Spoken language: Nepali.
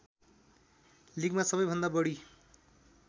लिगमा सबैभन्दा बढी